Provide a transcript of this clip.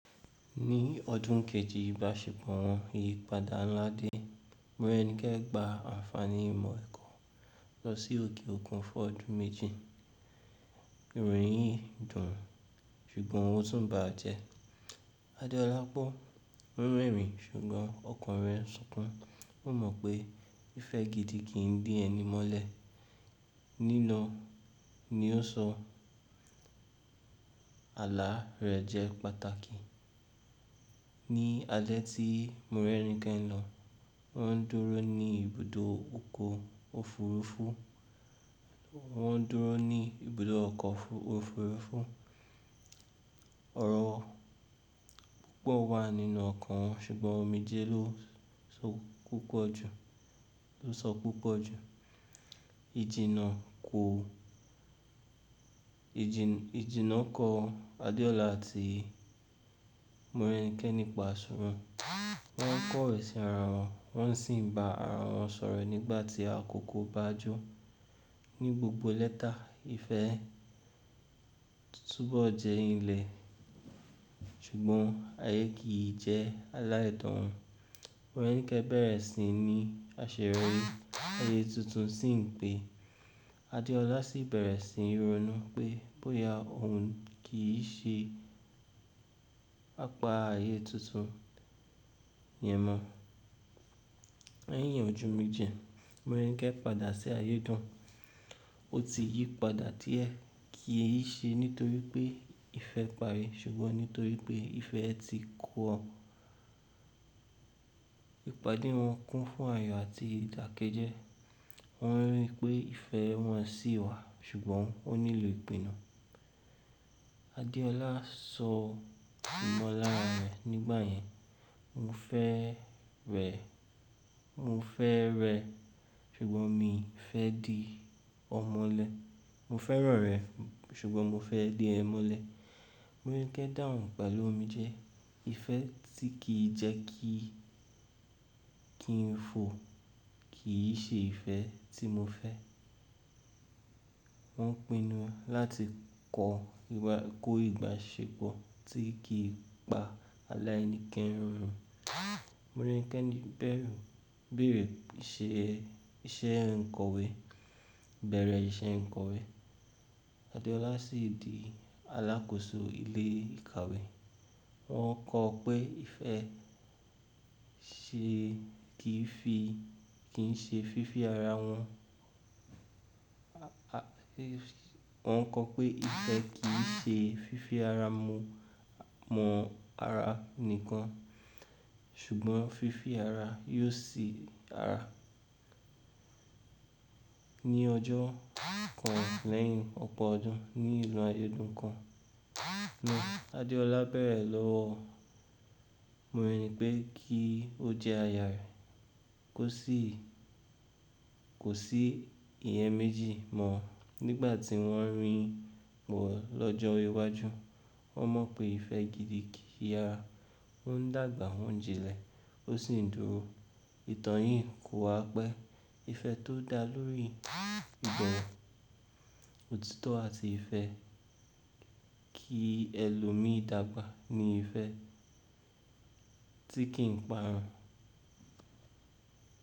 Ní ọdún kejì ìbáṣepọ̀ wọn, ìyípadà ńlá dé. Morẹ́nikẹ́ gba àǹfààní ìmọ̀ ẹ̀kọ́ lọ sí òkè òkun fún ọdún méjì. Ìròyìn yìí dùn ń, ṣùgbọ́n ó tún bàjẹ. Adeọlá gbọ́, ó ń rẹ́rìn-ín ṣùgbọ́n ọkàn rẹ̀ ń sunkún. Ó mọ̀ pé ìfẹ́ gidi kì í dí ẹni mọ́lẹ̀. “Ní lọ”, ni ó sọ. Àlá rẹ̀ jẹ́ pàtàkì. Ni alẹ́ tí Morẹ́nikẹ́ ń lọ, wọ́n ń dúró ní ibùdó oko òfurufú. Wọ́n ń dúró ní ibùdó ọkọ̀ òfurufú. Ọ̀rọ̀ púpọ̀ wà nínú ọ̀kan wọn ṣùgbọ́n omijé lo ló sọ púpọ̀ jù. Ìjìná kọ̀ Adeọ́lá àti Morẹ́nikẹ́ nípa sọ̀rọ̀. Wọ́n ń kọ ìsẹ́ ara wọn, wọ́n sì ń ba ara wọn sọ̀rọ̀ nígbà tí àkókò bàjú. Ni gbogbo lẹ́ta, ìfẹ́ tún bọ́ jẹ́ ìlẹ̀ ṣùgbọ́n ayé kìí jẹ́ aláìdán. Morẹ́nikẹ́ bẹ̀rẹ̀ sí i ní àṣeré ayé tuntun sí ń pe. Adeọlá sì bẹ̀rẹ̀ sí ń ronú pé bóyá òun kì í ṣe apá ayé tuntun yẹn mọ́. Lẹ́yìn ọdún méje, Morẹ́nikẹ́ padà sí ayédùn. Ó ti yí padà tí ẹ́ kì í ṣe nítorí pé ìfẹ́ parí ṣùgbọ́n nítorí pé ìfẹ́ ẹ ti kù ọ. Ìpàdé wọn kún fún àyò àti ìdàkejẹ́. Wọ́n rí i pé ìfẹ́ wọn ṣì wà ṣùgbọ́n ó nílò ìpinnu. Adeọlá sọ ìmọ̀lára rẹ̀ nígbà yẹn. “Mo fẹ́ rẹ ṣùgbọ́n mi ò fẹ́ di ọmọ̀lẹ. Mo fẹ́ràn rẹ ṣùgbọ́n mo fẹ́ di ẹmọ́lẹ̀.” Morẹ́nikẹ́ dáhùn, “Pẹ̀lú omijé, ìfẹ́ tí kì í jẹ́ kí ń fo kì í ṣe ìfẹ́ tí mo fẹ́.” Wọ́n pinu láti kọ́ ìbáṣepọ̀ tí kì í pa aláìníkeránu. Morẹ́nikẹ́ bẹ̀rẹ̀ iṣẹ́ ìkowé. Adeọlá sì di alákòóso ilé ìkàwé. Wọn kọ̀ pé ìfẹ́ kì í ṣe fífi ara mọ ara nìkan ṣùgbọ́n fífi ara yóò sí ara. Ni ọjọ́ kan lẹ́yìn ọ̀pọ̀ ọdún ní ìlú ayédàn kan náà, Adeọlá bẹ̀rẹ̀ lọ́wọ́ Morẹ́nikẹ́ kí ó jẹ́ aya rẹ̀. Kò sí ìyẹn méjì mọ́ nígbà tí wọ́n ń rìn wọ̀ lọ́jọ́ iwájú. Wọ́n mọ̀ pé ìfẹ́ gidi kì yara won dágbà wọ́n jinlẹ̀, ó sì ń dúró. Ìtàn yìí kò wá pé ìfẹ́ tó dá lórí ìbọwi òtítọ́ àti ìfẹ́ kí ẹlòmíì dágbà ni ìfẹ́ tí kì í parun.